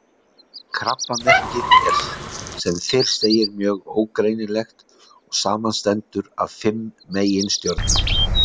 Krabbamerkið er sem fyrr segir mjög ógreinilegt og samanstendur af fimm meginstjörnum.